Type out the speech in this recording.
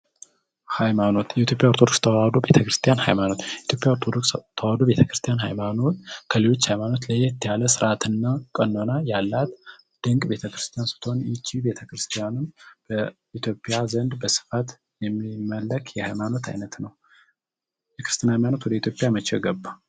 ሃይማኖት የኢትዮጵያ ኦርቶዶክስ ተዋህዶ ቤተክርስትያን ሀይማኖት ኦርቶዶክስ ተዋህዶ ቤተክርስቲያን ሃይማኖት ከሌሎች ሃይማኖት ለየት ያለ ስርዓትንና ቀኖና ያላት ድንቅ ቤተ ክርስቲያን ስቶኒ ቤተ ክርስቲያኑ በኢትዮጵያ ዘንድ በስፋት የሚመለክ የሃይማኖት አይነት ነው የክርስትና መቼ ገባ?